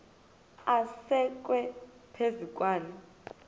asekwe phezu kwaloo